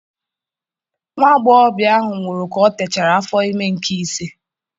Nwa agbọghọbịa ahụ nwụrụ ka ọ techara afọ ime nke ise.